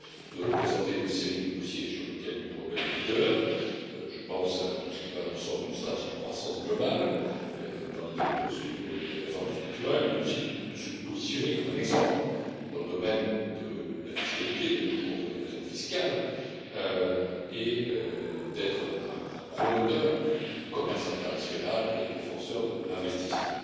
Nous avons présenté une série de dossiers sur lesquels l'Union européenne est à la pointe. Je pense à tout ce qui va dans le sens d'une stratégie de croissance globale, dans l'idée de poursuivre les réformes structurelles, mais aussi de se positionner comme un exemple dans le domaine de la fiscalité, de la lutte contre l'évasion fiscale et d'être un promoteur du commerce international et un défenseur de l'investissement.